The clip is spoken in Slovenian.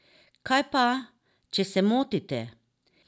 Kaj pa, če se motite?